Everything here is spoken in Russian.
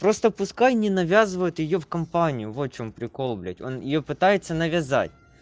просто пускай не навязывают её в компанию вот в чём прикол блядь он её пытается навязать